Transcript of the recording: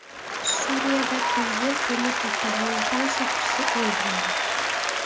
Suriyada prezident turmush o‘rtog‘ining tan soqchisi o‘ldirildi.